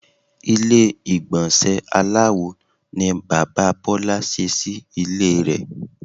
Ilé ìgbònsè aláwo ni Bàbá Bólá se sí Ilé re